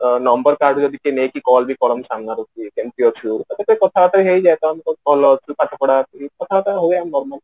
number କାହାଠୁ ଯଦି କିଏ ନେଇକି କାହାକୁ call ବି କରନ୍ତି ସମୟରେ କେମିତି ଅଛୁ ଏଇଟା ତ କଥାବାର୍ତା ହେଇକି ଯାଇ ପାରନ୍ତି କଥାବାର୍ତା ହେଇ ଯାନ୍ତି normal